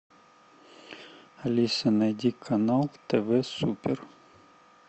алиса найди канал тв супер